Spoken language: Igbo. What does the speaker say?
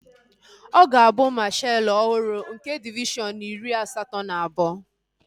Ọ ga-abụ mashaalu ọhụrụ nke divishọn iri asatọ na abụọ